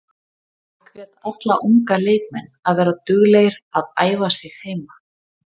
Ég hvet alla unga leikmenn að vera duglegir að æfa sig heima.